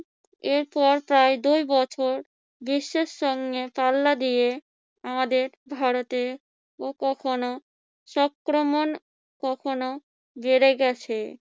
এরপর পর দুই বছর বিশ্বের সঙ্গে পাল্লা দিয়ে আমাদের ভারতেও কখনো সঙ্ক্রমণ কখনো বেড়ে গেছে।